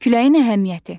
Küləyin əhəmiyyəti.